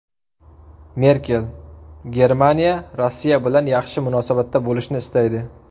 Merkel: Germaniya Rossiya bilan yaxshi munosabatda bo‘lishni istaydi.